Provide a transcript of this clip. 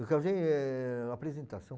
Eu casei eh apresentação.